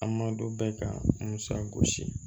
An ma don bɛɛ ka musa gosi